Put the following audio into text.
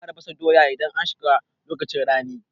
Za a fara fasa doya idan an shiga lokacin rani